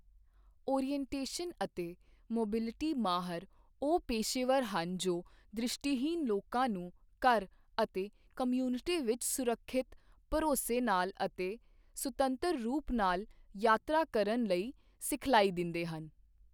Orientation ਅਤੇ mobility ਮਾਹਰ ਉਹ ਪੇਸ਼ੇਵਰ ਹਨ ਜੋ ਦ੍ਰਿਸ਼ਟੀਹੀਣ ਲੋਕਾਂ ਨੂੰ ਘਰ ਅਤੇ ਕਮਿਊਨਿਟੀ ਵਿੱਚ ਸੁਰੱਖਿਅਤ, ਭਰੋਸੇ ਨਾਲ ਅਤੇ ਸੁਤੰਤਰ ਰੂਪ ਨਾਲ ਯਾਤਰਾ ਕਰਨ ਲਈ ਸਿਖਲਾਈ ਦਿੰਦੇ ਹਨ।